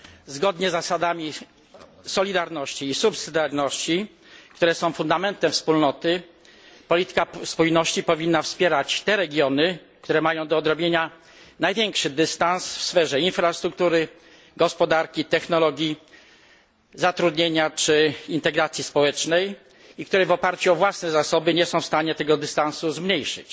Zgodnie z zasadami solidarności i pomocniczości, które są fundamentem Wspólnoty, polityka spójności powinna wspierać te regiony, które mają do odrobienia największy dystans w sferze infrastruktury, gospodarki, technologii, zatrudnienia czy integracji społecznej i które w oparciu o własne zasoby nie są w stanie tego dystansu zmniejszyć.